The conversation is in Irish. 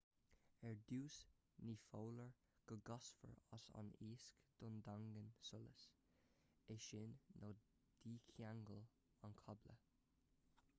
ar dtús ní foláir go gcasfar as an lasc don daingneán solais é sin nó dícheangail an cábla